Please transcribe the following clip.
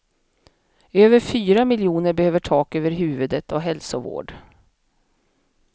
Över fyra miljoner behöver tak över huvudet och hälsovård.